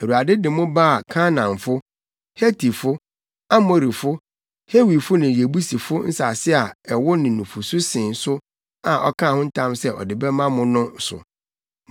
Awurade de mo baa Kanaanfo, Hetifo, Amorifo, Hewifo ne Yebusifo nsase a ɛwo ne nufusu sen so a ɔkaa ho ntam sɛ ɔde bɛma mo no so.